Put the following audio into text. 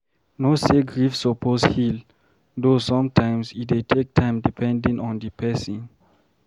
Know say grief suppose heal, though sometimes e dey take time depedning on di person